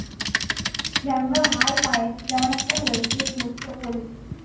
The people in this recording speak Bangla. দেখ না ভাই পায়ে কিরম একটা হয়েছে, ফোস্কা পরেছে।